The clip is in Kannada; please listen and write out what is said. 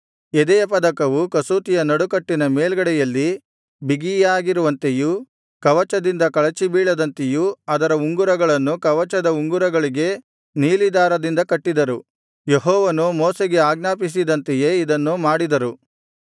ಎದೆಯಪದಕವು ಕಸೂತಿಯ ನಡುಕಟ್ಟಿನ ಮೇಲ್ಗಡೆಯಲ್ಲಿ ಬಿಗಿಯಾಗಿರುವಂತೆಯೂ ಕವಚದಿಂದ ಕಳಚಿಬೀಳದಂತೆಯೂ ಅದರ ಉಂಗುರಗಳನ್ನು ಕವಚದ ಉಂಗುರಗಳಿಗೆ ನೀಲಿ ದಾರದಿಂದ ಕಟ್ಟಿದರು ಯೆಹೋವನು ಮೋಶೆಗೆ ಆಜ್ಞಾಪಿಸಿದಂತೆಯೇ ಇದನ್ನು ಮಾಡಿದರು